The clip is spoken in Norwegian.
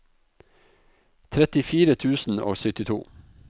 trettifire tusen og syttito